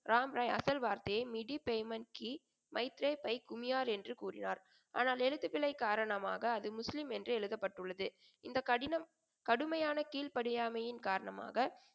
ராமராய் அசல் வார்த்தையை மிடி payment கீ பைக்குமியார் என்று கூறினார். ஆனால் எழுத்துபிழை காரணமாக அது முஸ்லீம் என்று எழுதப்பட்டுள்ளது. இந்தக் கடினம் கடுமையான கீழ்ப்படியாமையின் காரணமாக,